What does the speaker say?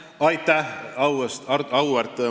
Aitäh, auväärt Martin Helme!